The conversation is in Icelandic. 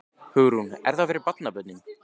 Hugrún: Er það fyrir barnabörnin?